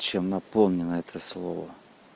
чем наполнено это слово